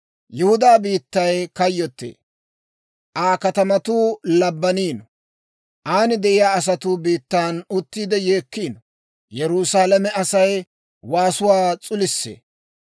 «Yihudaa biittay kayyottee; Aa katamatuu labbaniino. An de'iyaa asatuu biittan uttiide yeekkiino; Yerusaalame Asay waasuwaa s'ulisee.